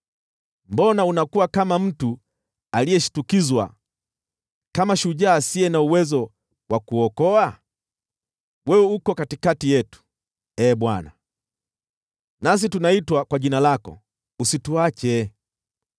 Mbona unakuwa kama mtu aliyeshtukizwa, kama shujaa asiye na uwezo wa kuokoa? Wewe uko katikati yetu, Ee Bwana , nasi tunaitwa kwa jina lako; usituache!